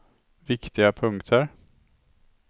viktiga punkter